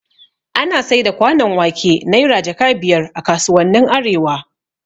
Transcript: Ana saida kwanon wake Naira jaka biyar a kasuwannin arewa